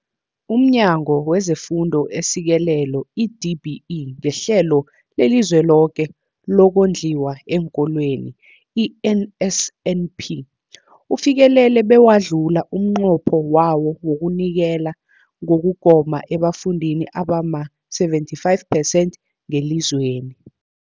UmNyango wezeFundo esiSekelo, i-DBE, ngeHlelo leliZweloke lokoNdliwa eenKolweni, i-NSNP, ufikelele bewadlula umnqopho wawo wokunikela ngokugoma ebafundini abama-75 percent ngelizweni.